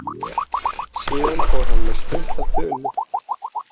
Síðan fór hann með stutta þulu.